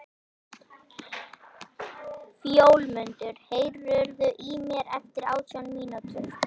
Fjólmundur, heyrðu í mér eftir átján mínútur.